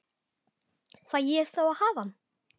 Fæ ég þá að hafa hann?